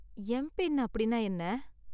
MPIN அப்படின்னா என்ன?